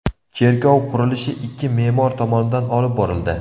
Cherkov qurilishi ikki me’mor tomonidan olib borildi.